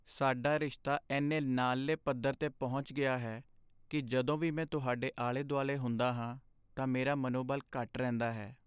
ਸਾਡਾ ਰਿਸ਼ਤਾ ਇੰਨੇ ਨਾਲਲੇ ਪੱਧਰ 'ਤੇ ਪਹੁੰਚ ਗਿਆ ਹੈ ਕੀ ਜਦੋਂ ਵੀ ਮੈਂ ਤੁਹਾਡੇ ਆਲੇ ਦੁਆਲੇ ਹੁੰਦਾ ਹਾਂ ਤਾਂ ਮੇਰਾ ਮਨੋਬਲ ਘੱਟ ਰਹਿੰਦਾ ਹੈ